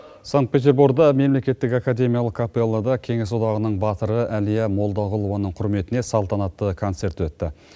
санкт петерборда мемлекеттік академиялық капеллада кеңес одағының батыры әлия молдағұлованың құрметіне салтанатты концерт өтті